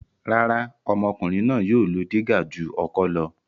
Rárá, ọmọkùnrin náà yóò lo dígà ju ọkọ́ lọ.